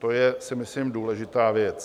To je, si myslím, důležitá věc.